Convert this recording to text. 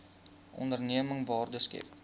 onderneming waarde skep